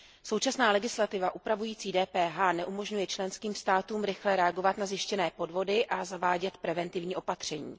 Současná legislativa upravující DPH neumožňuje členským státům rychle reagovat na zjištěné podvody a zavádět preventivní opatření.